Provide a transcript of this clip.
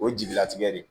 O ye jelilatigɛ de ye